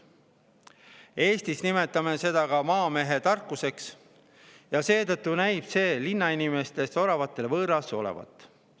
Eestis me nimetame seda ka maamehetarkuseks ja seetõttu näib see linnainimestest oravatele võõras olevat.